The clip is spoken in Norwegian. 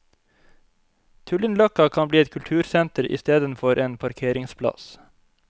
Tullinløkka kan bli et kultursenter istedenfor en parkeringsplass.